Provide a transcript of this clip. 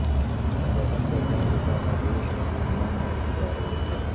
وطن پر جاں لٹانا دین ہے ایمان ہے پیارے